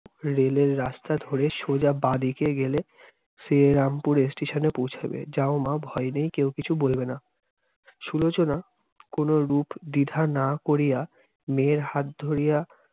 rail এর রাস্তা ধরে সোজা বাঁ-দিকে গেলে। শ্রীরামপুর station এ পৌঁছাবে- যাও মা, ভয় নেই, কেউ কিছু বলবে না। সুলোচনা কোনরূপ দ্বিধা না করিয়া, মেয়ের হাত ধরিয়া